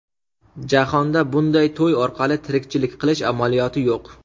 Jahonda bunday to‘y orqali tirikchilik qilish amaliyoti yo‘q.